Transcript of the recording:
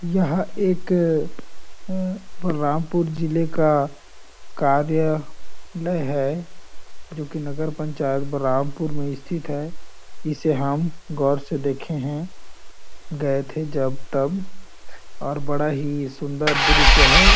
यह एक अअअ अ बलरामपुर ज़िले का कार्या लय है जोकि नगर पंचायत बलरामपुर में स्थित है इसे हम गौर से देखे है गए थे जब- तब और बड़ा - ही सुन्दर दृश्य हैं ।